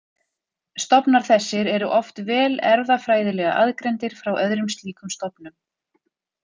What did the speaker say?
Stofnar þessir eru oft vel erfðafræðilega aðgreindir frá öðrum slíkum stofnum.